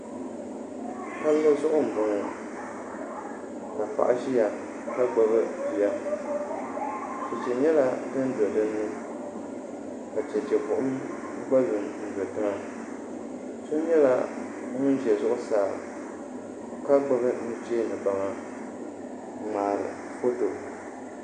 Palli zuɣu n boŋo ka paɣa ʒiya ka gbubi bia chɛchɛ nyɛla din do dinni ka chɛchɛ buɣum gba do n pahi so nyɛla ŋun ʒɛ zuɣusaa ka gbubi nuchɛ ni baŋa n ŋmaari foto